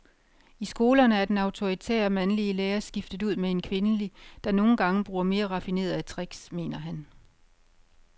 I skolerne er den autoritære, mandlige lærer skiftet ud med en kvindelig, der nogle gange bruger mere raffinerede tricks, mener han.